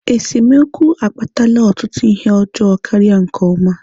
Esemokwu akpatala ọtụtụ ihe ọjọọ karịa nke ọma